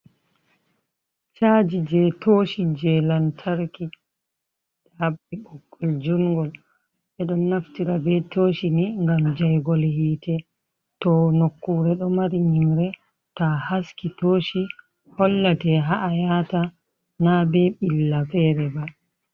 Chaji je toshi je lantarki haɓɓi ɓoggol jungol. Ɓeɗon naftira be toshi ni ngam jaigol hite to nokkure ɗo mari nyimre ta a haski toshi hollate haa ayata na be ɓilla fere ba.